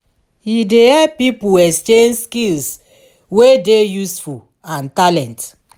e dey help pipo exchange skills wey dey useful and talent